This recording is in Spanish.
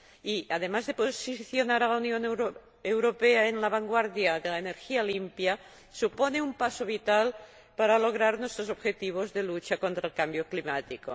Y, además de posicionar a la Unión Europea en la vanguardia de la energía limpia, supone un paso vital para lograr nuestros objetivos de lucha contra el cambio climático.